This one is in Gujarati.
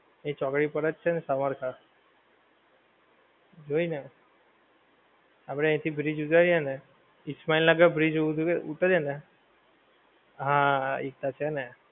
એ ચોકડી પર જ છે ને સવારથા જોઈને આપણે અહીથી bridge ઉતરીએ ને ઇસ્માઈનગર bridge ઉતરીએ ને હા એ તો છે ને